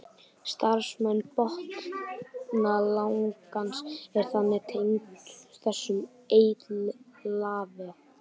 Starfsemi botnlangans er þannig tengd þessum eitlavef.